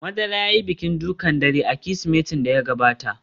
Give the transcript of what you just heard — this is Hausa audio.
Madara ya yi bikin dukan dare a Kirsimetin da ya gabata